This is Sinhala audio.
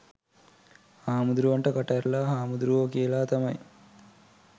හාමුදුරුවන්ට කට ඇරලා හාමුදුරුවෝ කියල තමයි